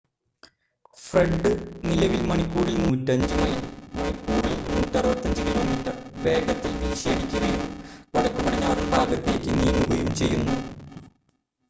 Fred നിലവിൽ മണിക്കൂറിൽ 105 mile മണിക്കൂറിൽ 165 കിലോമീറ്റർ വേഗതയിൽ വീശിയടിക്കുകയും വടക്കുപടിഞ്ഞാറൻ ഭാഗത്തേക്ക് നീങ്ങുകയും ചെയ്യുന്നു